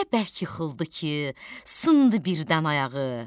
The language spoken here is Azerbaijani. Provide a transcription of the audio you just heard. Elə bərk yıxıldı ki, sındı birdən ayağı.